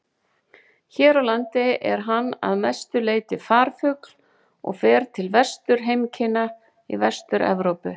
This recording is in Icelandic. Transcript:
Hér á landi er hann að mestu leyti farfugl og fer til vetrarheimkynna í Vestur-Evrópu.